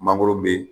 Mangoro be